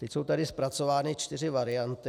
Teď jsou tady zpracovány čtyři varianty.